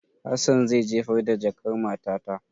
Hassan zai jefar da jakan matata.